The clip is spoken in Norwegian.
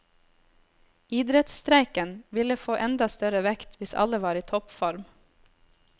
Idrettsstreiken ville få enda større vekt hvis alle var i toppform.